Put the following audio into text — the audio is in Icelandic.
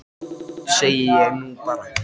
Eins gott, segi ég nú bara.